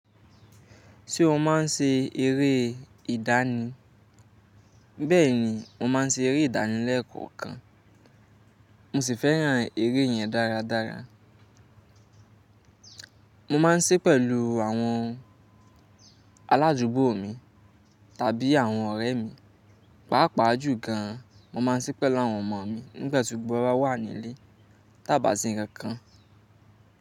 Ṣé o máa ń ṣe eré ìdánì? Bẹ́ẹ̀ni, mo máa ń ṣe eré ìdánì lẹ́ẹ̀kọọkan. Mo sì fẹ́ràn eré yẹn dáradára. Mo máa ń sí pẹ̀lú àwọn alájúgbó mi tàbí àwọn ọ̀rẹ́ mi, pàápàá jù gan an mo máa ń sí pẹ̀lú àwọn ọmọ mi nígbàtí gbogbo wa bá wà ní ilé tá a bá ṣe nǹkankan.